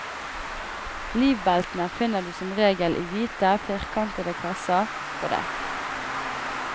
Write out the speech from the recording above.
Livbeltene finner du som regel i hvite, firkantede kasser på dekk.